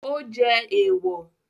Ó jẹ́ èwọ̀